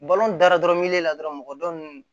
daradɔn miliyɔn la dɔrɔn mɔgɔ dɔ nun